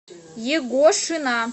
егошина